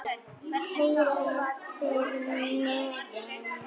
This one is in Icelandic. Heyrið þið niðinn?